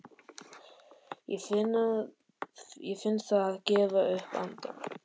Ég finn það gefa upp andann.